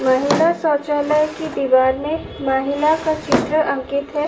महिला शौचालय की दीवार में महिला का चित्र अंकित है।